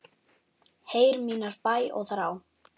Heyr mínar bænir og þrá.